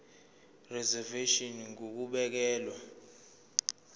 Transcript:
reservation ngur ukubekelwa